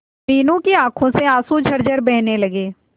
मीनू की आंखों से आंसू झरझर बहने लगे